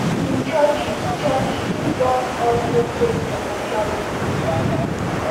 im churches churches don also face financial scrutiny